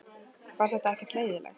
Var það ekkert leiðinlegt?